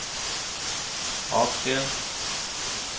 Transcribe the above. atskilt